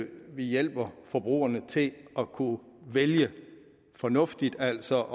vi hjælper forbrugerne til at kunne vælge fornuftigt altså